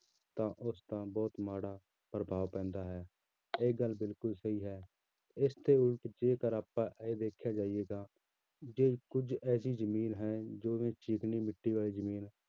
ਤਾਂ ਉਸਦਾ ਬਹੁਤ ਮਾੜਾ ਪ੍ਰਭਾਵ ਪੈਂਦਾ ਹੈ, ਇਹ ਗੱਲ ਬਿਲਕੁਲ ਸਹੀ ਹੈ, ਇਸਦੇ ਉਲਟ ਜੇਕਰ ਆਪਾਂ ਇਹ ਦੇਖਿਆ ਜਾਈਏ ਤਾਂ ਜੇ ਕੁੱਝ ਐਸੀ ਜ਼ਮੀਨ ਹੈ, ਜਿਵੇਂ ਚੀਕਣੀ ਮਿੱਟੀ ਵਾਲੀ ਜ਼ਮੀਨ ਹੈ